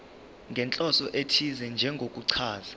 nenhloso ethize njengokuchaza